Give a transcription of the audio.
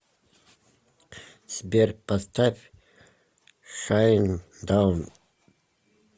сбер поставь шайндаун